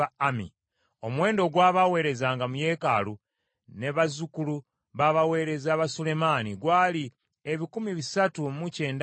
Omuwendo ogw’abaaweerezanga mu yeekaalu ne bazzukulu b’abaweereza ba Sulemaani bonna awamu, gwali ebikumi bisatu mu kyenda mu babiri (392).